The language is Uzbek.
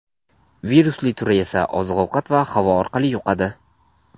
Virusli turi esa oziq-ovqat va havo orqali yuqadi.